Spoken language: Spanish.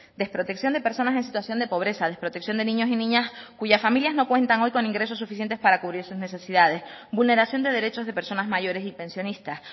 desprotección de personas en situación de pobreza desprotección de niños y niñas cuyas familias no cuentan hoy con ingresos suficientes para cubrir sus necesidades vulneración de derechos de personas mayores y pensionistas